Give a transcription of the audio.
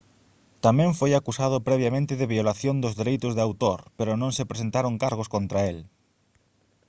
tamén foi acusado previamente de violación dos dereitos de autor pero non se presentaron cargos contra el